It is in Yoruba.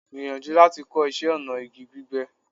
Gbìyànjú láti kọ́ iṣẹ́ ọnà igi gbígbẹ́.